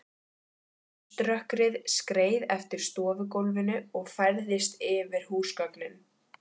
Þessvegna hefðu þeir fátt eftirtektarvert fram að færa.